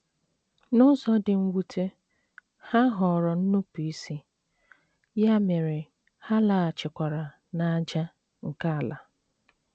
N’ụzọ dị mwute, ha họọrọ nnupụisi, ya mere ha laghachikwara ‘‘ n’ájá ’ nke ala.